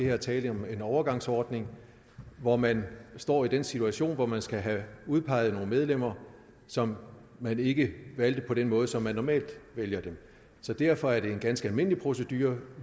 er tale om en overgangsordning hvor man står i den situation at man skal have udpeget nogle medlemmer som man ikke valgte på den måde som man normalt vælger dem så derfor er det en ganske almindelig procedure